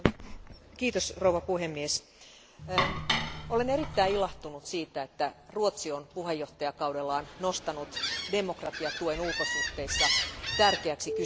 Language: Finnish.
Arvoisa puhemies, olen erittäin ilahtunut siitä, että Ruotsi on puheenjohtajakaudellaan nostanut demokratiatuen ulkosuhteissa tärkeäksi kysymykseksi.